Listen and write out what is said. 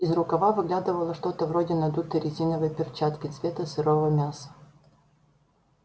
из рукава выглядывало что-то вроде надутой резиновой перчатки цвета сырого мяса